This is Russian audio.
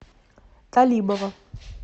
талибова